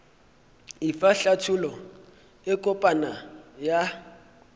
efa hlathollo e kopana ya